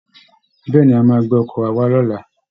Bẹ́ẹ̀ ni, a máa gbé ọkọ̀ wa wá lọ́la